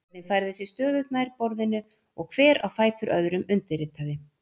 Röðin færði sig stöðugt nær borðinu og hver á fætur öðrum undirritaði.